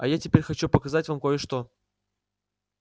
а теперь я хочу показать вам ещё кое-что